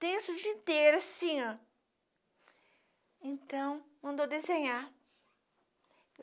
Tensos o dia inteiro, assim, ó. Então, mandou desenhar.